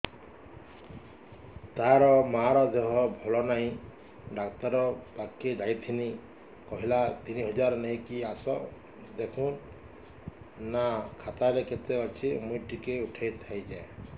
ତାର ମାର ଦେହେ ଭଲ ନାଇଁ ଡାକ୍ତର ପଖକେ ଯାଈଥିନି କହିଲା ତିନ ହଜାର ନେଇକି ଆସ ଦେଖୁନ ନା ଖାତାରେ କେତେ ଅଛି ମୁଇଁ ଟିକେ ଉଠେଇ ଥାଇତି